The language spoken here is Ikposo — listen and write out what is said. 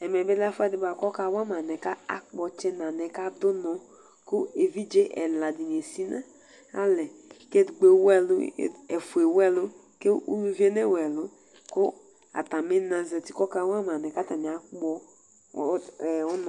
Ɛmɛbi ɔlɛ ɛfʋɛdi kʋ ɔkawama anɛ akpɔ ɔtsɛ nʋ anɛ adʋ ʋnɔ, kʋ evidze ɛladini esinʋ alɛ, kʋ ɛfʋ ewʋ ɛlʋ kʋ ʋlʋvi yɛ newʋ ɛlʋ, kʋ atami na zati kʋ ɔkawama anɛ kʋ atani akpɔ ʋnɔ